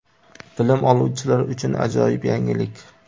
Bilim oluvchilar uchun ajoyib yangilik!.